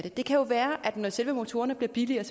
det kan jo være at folk når selve motorerne bliver billigere